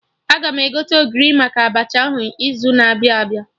Aga m egote Ogiri maka Abacha ahụ n'izu na-abịa abịa